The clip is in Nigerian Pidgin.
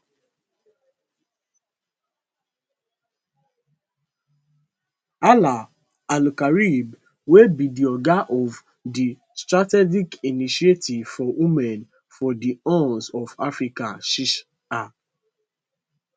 hala alkarib wey be di oga of di strategic initiative for women for di horn of africa siha